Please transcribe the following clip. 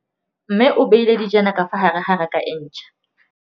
Mmê o beile dijana ka fa gare ga raka e ntšha.